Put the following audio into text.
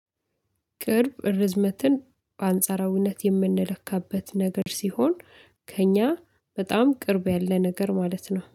ቅርብ ርዝመትን በአንጻራዊነት የምንለካበት ነገር ሲሆን ከእኛ በጣም ቅርብ ያለ ነገር ማለት ነው